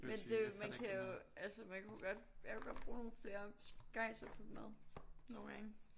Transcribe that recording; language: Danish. Men det man kan jo altså man kunne jo godt jeg kunne godt bruge nogle flere skejser på mad nogen gange